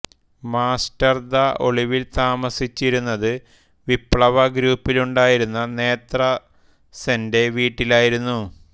മാസ്റ്റർദാ ഒളിവിൽ താമസിച്ചിരുന്നത് വിപ്ലവ ഗ്രൂപ്പിലുണ്ടായിരുന്ന നേത്ര സെന്റെ വീട്ടിലായിരുന്നു